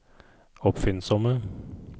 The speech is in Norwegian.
oppfinnsomme